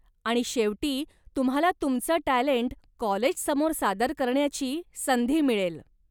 आणि शेवटी तुम्हाला तुमचं टॅलेंट कॉलेजसमोर सादर करण्याची संधी मिळेल.